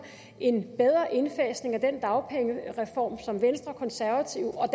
en bedre indfasning af den dagpengereform som venstre konservative og